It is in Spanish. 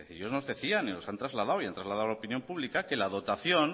ellos nos decían y nos lo han trasladado y han trasladado a la opinión pública que la dotación